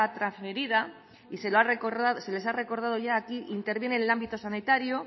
trasferida y se les ha recordado ya aquí interviene el ámbito sanitario